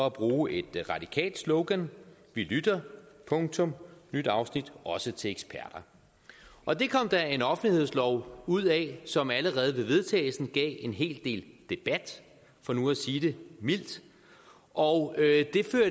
at bruge et radikalt slogan vi lytter punktum nyt afsnit også til eksperter og det kom der en offentlighedslov ud af som allerede ved vedtagelsen gav en hel del debat for nu at sige det mildt og